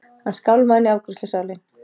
Hann skálmaði inn í afgreiðslusalinn.